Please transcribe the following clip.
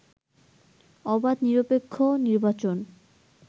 অবাধ, নিরপেক্ষ নির্বাচন